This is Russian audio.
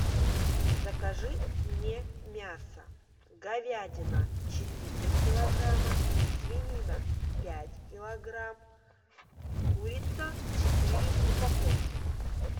закажи мне мясо говядина четыре килограмма свинина пять килограмм курица четыре упаковки